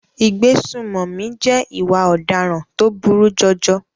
Ìgbésùnmọ̀mí jẹ́ ìwà ọ̀daràn tó burú jọjọ.